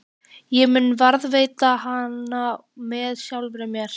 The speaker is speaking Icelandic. Ég mun varðveita hana með sjálfri mér.